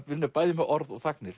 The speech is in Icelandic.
vinnur bæði með orð og